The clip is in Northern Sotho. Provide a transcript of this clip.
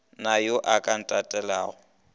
na yo a ka ntatelelago